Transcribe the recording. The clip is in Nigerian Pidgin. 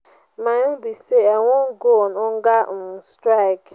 my own be say i wan go on hunger um strike.